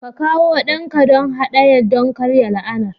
Ka kawo ɗanka don haɗaya don karya la'anar